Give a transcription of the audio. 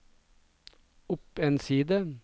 opp en side